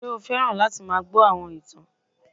Ṣé o fẹ́ràn láti máa gbọ́ àwọn ìtàn